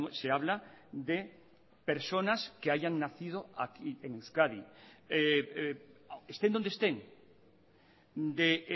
se habla de personas que hayan nacido aquí en euskadi estén donde estén de